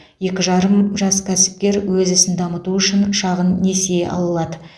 екі жарым жас кәсіпкер өз ісін дамыту үшін шағын несие ала алады